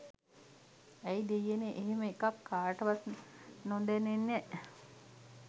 ඇයි දෙයියනේ එහෙම එකක් කාටවත් නොදැනෙන